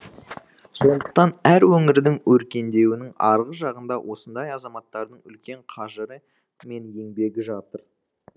сондықтан әр өңірдің өркендеуінің арғы жағында осындай азаматтардың үлкен қажыры мен еңбегі жатыр